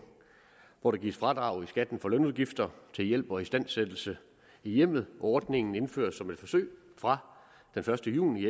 hvor der gives fradrag i skatten for lønudgifter til hjælp og istandsættelse i hjemmet ordningen indføres som et forsøg fra den første juni